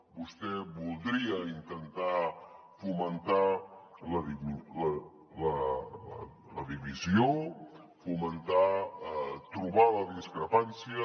vostè voldria intentar fomentar la divisió trobar la discrepància